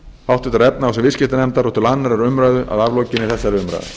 háttvirtrar efnahags og viðskiptanefndar og til annarrar umræðu að aflokinni þessari umræðu